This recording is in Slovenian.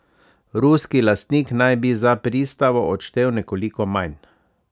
Ruski lastnik naj bi za pristavo odštel nekoliko manj.